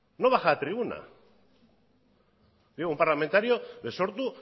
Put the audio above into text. ningún parlamentario de sortu